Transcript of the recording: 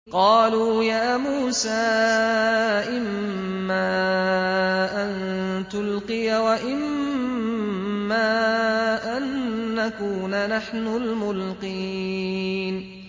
قَالُوا يَا مُوسَىٰ إِمَّا أَن تُلْقِيَ وَإِمَّا أَن نَّكُونَ نَحْنُ الْمُلْقِينَ